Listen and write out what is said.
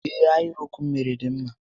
Ee, ahịrịokwu m méré dị mma